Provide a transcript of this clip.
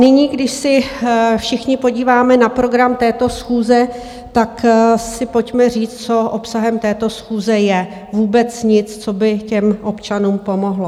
Nyní, když se všichni podíváme na program této schůze, tak si pojďme říct, co obsahem této schůze je - vůbec nic, co by těm občanům pomohlo.